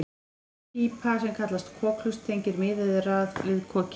Grönn pípa sem kallast kokhlust tengir miðeyrað við kokið.